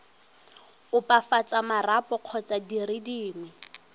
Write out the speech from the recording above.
opafatsa marapo kgotsa dire dingwe